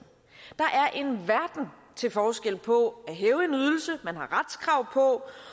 der til forskel på at man har retskrav på